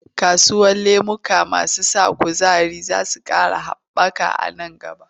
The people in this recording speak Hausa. Kasuwar lemuka masu ƙara kuzari za ta ƙara haɓa a nan gaba.